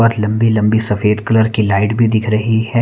बहुत लंबी-लंबी सफेद कलर की लाइट भी दिख रही है।